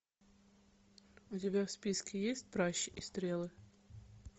у тебя в списке есть пращи и стрелы